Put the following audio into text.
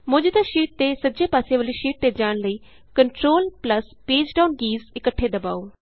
ਮੌਜੂਦਾ ਸ਼ੀਟ ਦੇ ਸੱਜੇ ਪਾਸੇ ਵਾਲੀ ਸ਼ੀਟ ਤੇ ਜਾਣ ਲਈ control plus page down keys ਇੱਕਠੇ ਦਬਾਉ